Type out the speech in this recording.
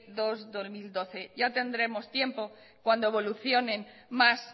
dos barra dos mil doce ya tendremos tiempo cuando evolucione más